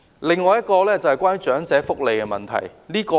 另一項是關於長者福利的問題。